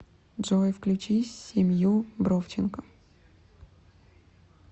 джой включи семью бровченко